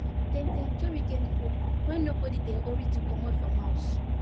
dem dey enjoy weekend food when nobody dey hurry to comot from house